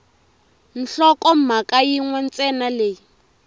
nhlokomhaka yin we ntsena leyi